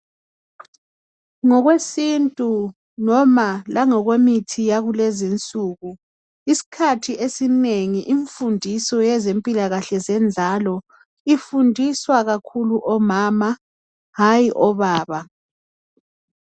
Ngokwesintu noma langokwemithi yakulezinsuku isikhathi esinengi imfundiso yezempilakahle zenzalo ifundiswa kakhulu omama hayi obaba.